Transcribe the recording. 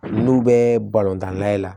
N'u bɛ balontan nayɛ la